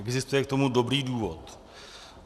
Existuje k tomu dobrý důvod.